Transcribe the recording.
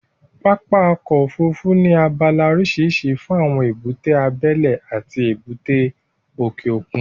Pápá ọkọ̀ Òfurufú ní abala oríṣiríṣi fún èbúté abẹ́lẹ́ àti èbúté òkè òkun